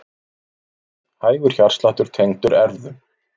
Hægur hjartsláttur tengdur erfðum